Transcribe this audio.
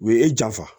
U ye e janfa